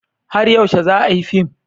Har yaushe za a yi fim?